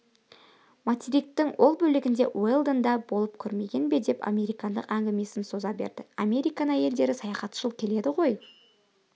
материктің ол бөлігінде уэлдон да болып көрмеген бе деп американдық әңгімесін соза берді американ әйелдері саяхатшыл келеді ғой